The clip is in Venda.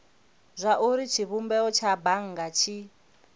zwauri tshivhumbeo tsha bannga tshi